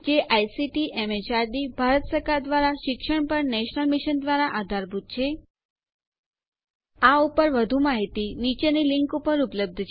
આ પર વધુ માહિતી નીચે આપેલ લીંક ઉપર ઉપલબ્ધ છે